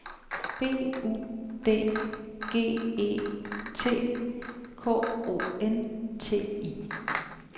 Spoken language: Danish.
B U D G E T K O N T I